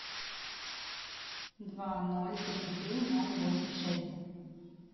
два ноль три три ноль восемь шесть